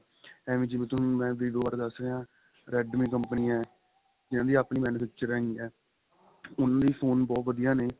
ਏਵੈ ਜਿਵੇਂ ਤੁਹਾਨੂੰ vivo ਬਾਰੇ ਦਸ ਰਿਹਾ redme company ਹੈ ਇਹਨਾ ਦੀ ਆਪਣੀ manufacturing ਹੈਗੀ ਏ ਉੰਨਾ ਦੇ phone ਬਹੁਤ ਵਧੀਆ ਨੇ